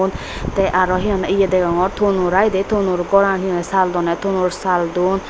un tey aro hi honney ye degongor tonor ai tonor goran hi hoi tonor saal don.